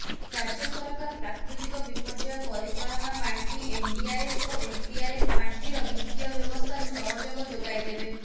ରାଜ୍ୟ ସରକାର ପ୍ରାକୃତିକ ବିପର୍ଯ୍ୟୟ ପରିଚାଳନା ପାଣ୍ଠି ଏନଡିଆରଏଫ୍ ଓ ଏସଡିଆରଏଫ୍ ପାଣ୍ଠିର ବିତ୍ତିୟ ବ୍ୟବସ୍ଥାରୁ ସହଯୋଗ ଯୋଗାଇଦେବେ